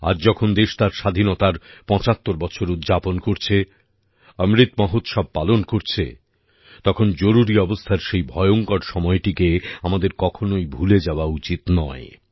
আজ যখন দেশ তার স্বাধীনতার ৭৫ বছর উদযাপন করছে অমৃত মহোৎসব পালন করছে তখন জরুরি অবস্থার সেই ভয়ঙ্কর সময়টিকে আমাদের কখনই ভুলে যাওয়া উচিত নয়